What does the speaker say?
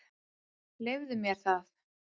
Leyfðu mér það